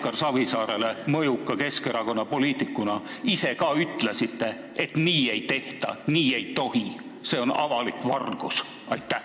Kas te ise ka mõjuka Keskerakonna poliitikuna ütlesite kunagi Edgar Savisaarele, et nii ei tehta, nii ei tohi – see on avalik vargus?